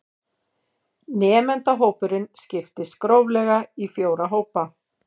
Nemendahópurinn skiptist gróflega í fjóra hópa